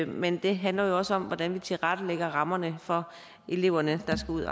men det handler jo også om hvordan vi tilrettelægger rammerne for eleverne der skal